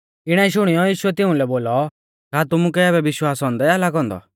इणै शुणियौ यीशुऐ तिउंलै बोलौ का तुमुकै आबै विश्वास औन्दै आ लागौ औन्दौ